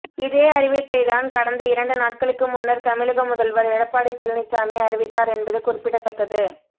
இதே அறிவிப்பைதான் கடந்த இரண்டு நாட்களுக்கு முன்னர் தமிழக முதல்வர் எடப்பாடி பழனிச்சாமி அறிவித்தார் என்பது குறிப்பிடத்தக்கது